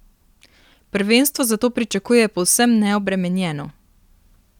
Prvenstvo zato pričakuje povsem neobremenjeno.